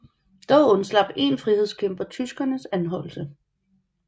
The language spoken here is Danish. Dog undslap én frihedskæmper tyskernes anholdelse